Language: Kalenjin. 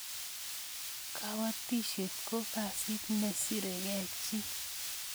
kabatishiet ko kasit ne sire kee jii